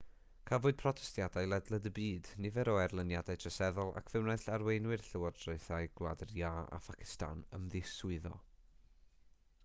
cafwyd protestiadau ledled y byd nifer o erlyniadau troseddol ac fe wnaeth arweinwyr llywodraethau gwlad yr iâ a phacistan ymddiswyddo